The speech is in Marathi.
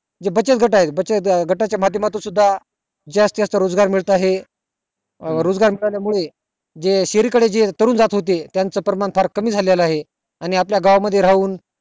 जे बचत गट आहे बचत गटा च्या माध्य मातुन सुद्धा जास्त जास्त रोजगार मिळत आहे अं रोजगार मिळाल्या मुळे जे शहराकडे जे तरुण जात होते त्याच प्रमाण फार कमी झालेला आहे आणि आपल्या गावा मध्ये राहून